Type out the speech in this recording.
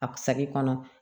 A saki kɔnɔ